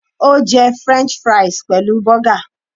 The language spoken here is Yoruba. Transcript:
Ó jẹ french fries pẹ̀lú burger